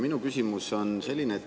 Minu küsimus on selline.